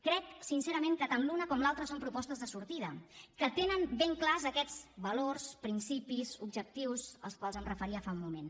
crec sincerament que tant l’una com l’altra són propostes de sortida que tenen ben clars aquests valors principis objectius als quals em referia fa un moment